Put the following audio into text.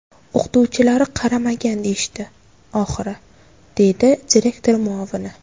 O‘qituvchilari qaramagan deyishdi, oxiri”, – deydi direktor muovini.